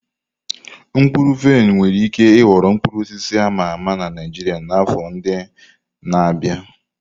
Mkpụrụ vaịn nwere ike ịghọ mkpụrụ osisi a ma ama na Naijiria n'afọ ndị na-abịa.